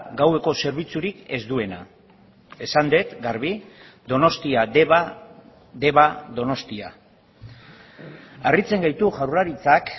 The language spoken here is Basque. gaueko zerbitzurik ez duena esan dut garbi donostia deba deba donostia harritzen gaitu jaurlaritzak